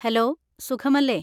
Hello, സുഖമല്ലേ.